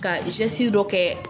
Ka dɔ kɛ